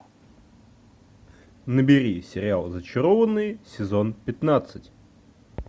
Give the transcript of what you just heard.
набери сериал зачарованные сезон пятнадцать